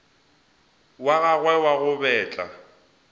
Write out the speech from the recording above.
wa gagwe wa go betla